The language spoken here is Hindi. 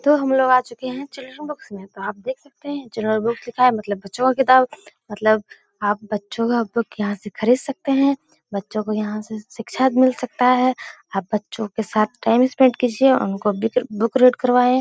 तो हम लोग आ चुके हैं में तो आप देख सकते हैं लिखा है मतलब बच्चों की किताब है मतलब आप बच्चों का बुक यहाँ से खरीद सकते हैं बच्चों को यहाँ से शिक्षा भी मिल सकता है आप बच्चों के साथ टाइम स्पेंड कीजिये उनको बिक बुक रीड करवाएं ।